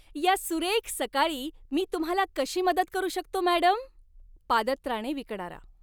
या सुरेख सकाळी मी तुम्हाला कशी मदत करू शकतो, मॅडम? पादत्राणे विकणारा